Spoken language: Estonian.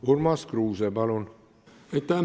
Urmas Kruuse, palun!